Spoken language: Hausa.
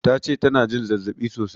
Tace tana jin zazzaɓi sosai